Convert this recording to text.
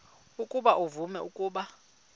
ukuba uvume ukuba